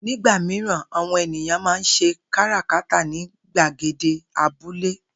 Nígbà mìíràn, àwo̩n ènìyàn máa ń s̩e káràkátà ní gbàgede abúlé